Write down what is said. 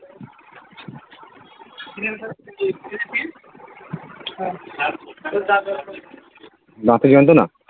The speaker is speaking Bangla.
দাঁতে যন্ত্রনা?